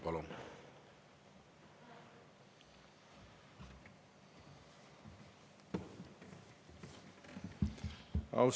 Palun!